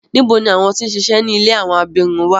Nibo ni awọn ti n ṣiṣẹ ni ìlé awọn abirun wa?